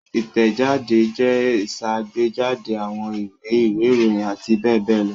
Ìtẹ̀jáde jẹ́ ìṣàgbéjáde àwọn ìwé, ìwé-ìròyìn àti bẹ́ẹ̀ bẹ́ẹ̀ lọ.